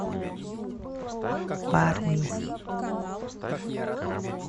барни